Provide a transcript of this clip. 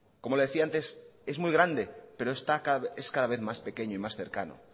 como le decía antes es muy grande pero es cada vez más pequeño y más cercano